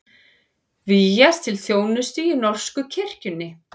Vígjast til þjónustu í norsku kirkjunni